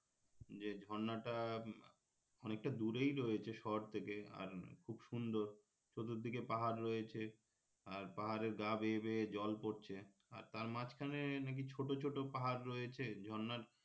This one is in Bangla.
যে ঝর্নাটা অনেকটা দুরেই রয়েছে শহর থেকে আর খুব সুন্দর চতুর্দিকে পাহাড় রয়েছে আর পাহাড়ের গা বেয়ে বেয়ে জল পড়ছে আর তার মাঝখানে নাকি ছোটো ছোটো পাহাড় রয়েছে ঝর্নার